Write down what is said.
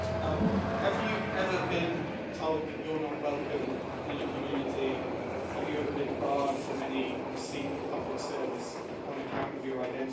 Have you ever been told that you're not welcome in a community and have you ever been barred from any receipt of public service on account of your identity?